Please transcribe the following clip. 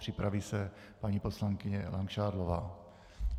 Připraví se paní poslankyně Langšádlová.